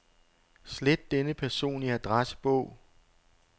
Slet denne person i adressebog.